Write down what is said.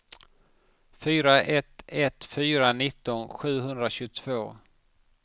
fyra ett ett fyra nitton sjuhundratjugotvå